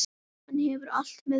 Hann hefur allt með sér.